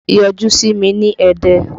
Yọjú sí mi ní Ẹdẹ!